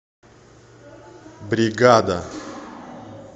бригада